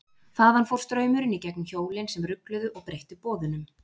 Þaðan fór straumurinn í gegnum hjólin sem rugluðu og breyttu boðunum.